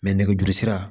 nɛgɛjuru sira